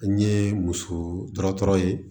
An ye muso dɔgɔtɔrɔ ye